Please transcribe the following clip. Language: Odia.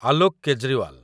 ଆଲୋକ କେଜ୍ରିୱାଲ